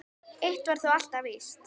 Eitt var þó alltaf víst.